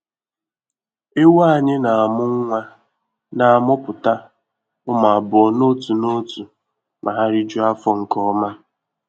Ewu anyị na-amụ nwa na-amụpụta ụmụ abụọ n'otu n'otu ma ha rijuo afọ nke ọma.